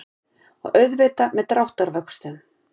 Og auðvitað með dráttarvöxtum.